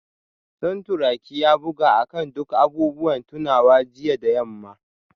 Santuraki ya buga akan duk abubuwan tunawa jiya da yamma